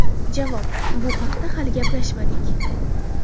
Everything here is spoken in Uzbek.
Javob: Bu haqda hali gaplashmadik.